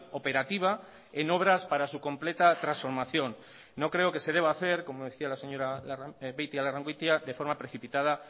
operativa en obras para su completa transformación no creo que se deba hacer como decía la señora beitialarrangoitia de forma precipitada